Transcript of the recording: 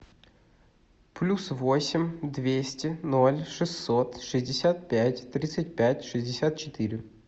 плюс восемь двести ноль шестьсот шестьдесят пять тридцать пять шестьдесят четыре